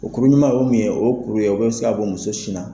O kuru ɲuman o ye mun ye o ye kuru ye o bɛ se ka bɔ muso sin na.